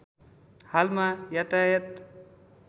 हालमा यातायात